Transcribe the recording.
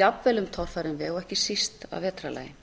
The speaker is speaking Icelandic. jafnvel um torfæran veg og ekki síst að vetrarlagi